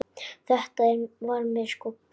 Þetta var mér sko kennt.